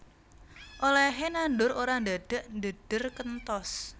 Olèhé nandur ora ndadak ndhedher kenthos